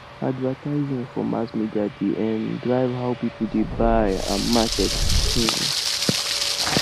advertising for mass media dey um drive how people dey buy and market um